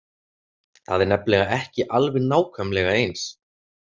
Það er nefnilega ekki alveg nákvæmlega eins.